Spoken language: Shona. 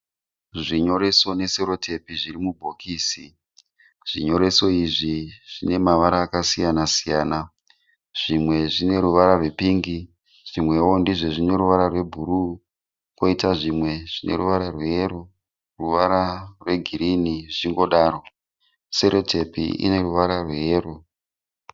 Zvinyoreso neseretipi zvirimubhokisi. Zvinyoreso izvi zvinemavara akasiyana-siyana. Zvimwe zvineruvara rwepingi, zvimwewo ndozvinoruvara rwebhuruu koita zvimwe zvineruvara rweyero.